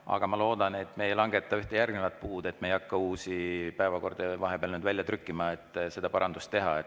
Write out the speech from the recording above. Aga ma loodan, et me ei langeta ühte järgnevat puud ega hakka uusi päevakordi vahepeal välja trükkima, et seda parandust teha.